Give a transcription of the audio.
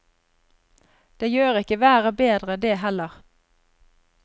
Det gjør ikke været bedre, det heller.